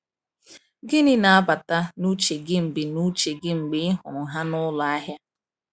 Gịnị na-abata n’uche gị mgbe n’uche gị mgbe ị hụrụ ha n’ụlọ ahịa?